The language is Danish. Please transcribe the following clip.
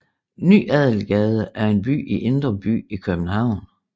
Ny Adelgade er en gade i Indre By i København